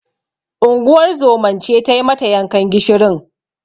Unguwar zoman ce tai mata yankan gishirin.